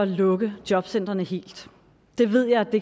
lukke jobcentrene helt det ved